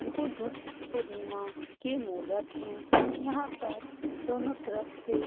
बुद्ध पूर्णिमा के मुहूर्त है यहाँ पर दोनों तरफ से --